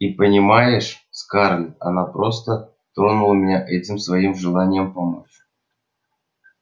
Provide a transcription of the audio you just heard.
и понимаешь скарлетт она просто тронула меня этим своим желанием помочь